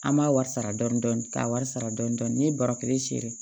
An m'a wari sara dɔɔni dɔɔni ka wari sara dɔɔni dɔɔni n'i ye bara kelen siri